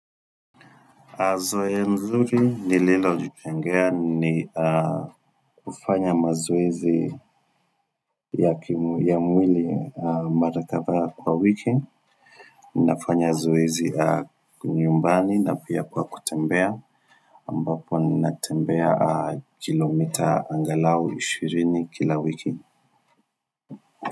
Azoe nzuri nililo jijengea ni kufanya mazoezi ya mwili marakadhaa kwa wiki. Ninafanya zoezi nyumbani na pia kwa kutembea. Ambapo ninatembea kilomita angalau 20 kila wiki.